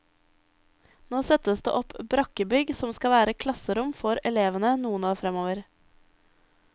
Nå settes det opp brakkebygg som skal være klasserom for elevene noen år fremover.